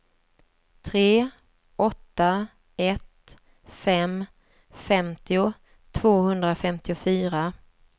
tre åtta ett fem femtio tvåhundrafemtiofyra